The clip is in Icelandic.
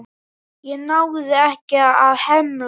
Ég náði ekki að hemla.